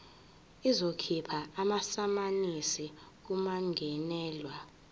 izokhipha amasamanisi kummangalelwa